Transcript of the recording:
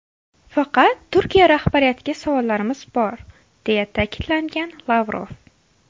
Faqat Turkiya rahbariyatiga savollarimiz bor”, deya ta’kidlagan Lavrov.